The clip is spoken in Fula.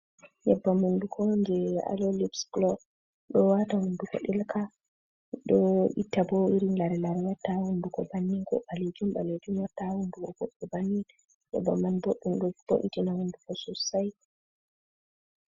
Nybbam hunduko je alolyps clow do wata hunduko ɗelka ɗo itta bo iri lare lare watta hunduko banni ko ɓalejum balejum, warta hunduko boddum bannia yebbam man boɗɗum do bo itina hunduko sossai.